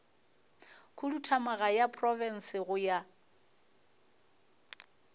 khuduthamaga ya profense go ya